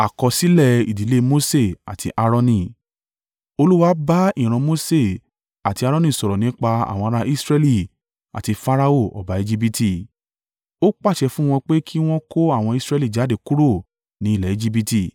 Olúwa bá ìran Mose àti Aaroni sọ̀rọ̀ nípa àwọn ará Israẹli àti Farao ọba Ejibiti, ó pàṣẹ fún wọn pé kí wọn kó àwọn Israẹli jáde kúrò ni ilẹ̀ Ejibiti.